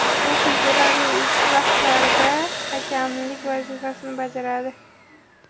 U figurali uchish bahslarida hakamlik vazifasini bajaradi.